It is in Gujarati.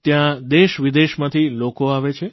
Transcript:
ત્યાં દેશવિદેશમાંથી લોકો આવે છે